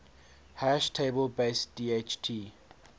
hash table based dht